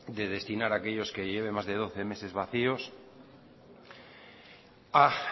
de destinar a aquellos que lleven más de doce meses vacíos a